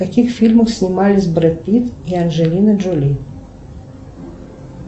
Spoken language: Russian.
в каких фильмах снимались брэд питт и анджелина джоли